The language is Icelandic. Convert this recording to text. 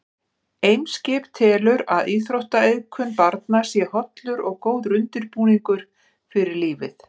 Eimskip telur að íþróttaiðkun barna sé hollur og góður undirbúningur fyrir lífið.